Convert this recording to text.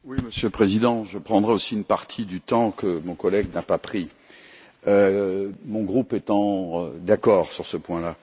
Monsieur le Président, je prendrai aussi une partie du temps que mon collègue n'a pas pris, mon groupe étant d'accord sur ce point.